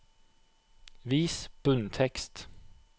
Vis bunntekst